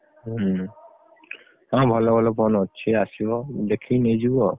ହୁଁ ହଁ ଭଲ ଭଲ phone ଅଛି ଆସିବ ଦେଖିକି ନେଇଯିବ ଆଉ।